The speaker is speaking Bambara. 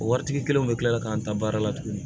O waritigi kelen bɛ tila ka taa n ta baara la tuguni